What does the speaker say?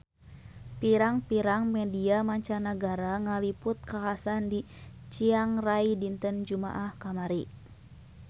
Pirang-pirang media mancanagara ngaliput kakhasan di Chiang Rai dinten Jumaah kamari